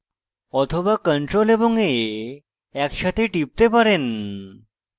অথবা ctrl এবং a একসাথে টিপতে পারেন